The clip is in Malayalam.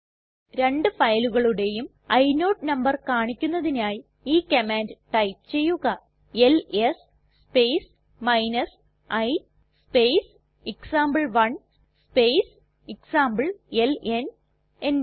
രണ്ട് ഫയലുകളുടേയും ഇനോട് നമ്പർ കാണിക്കുന്നതിനായി ഈ കമാൻഡ് ടൈപ്പ് ചെയ്യുക L S space i space example one space example enter